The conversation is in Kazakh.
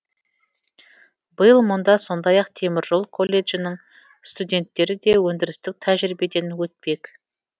биыл мұнда сондай ақ теміржол колледжінің студенттері де өндірістік тәжірибеден өтпек